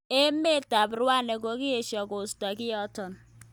Emet ab Rwanda kokiesho koisto kiotok.